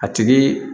A tigi